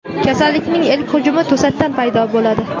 Kasallikning ilk hujumi to‘satdan paydo bo‘ladi.